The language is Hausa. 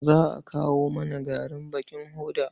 Za a kawo mana garin bakin hoda.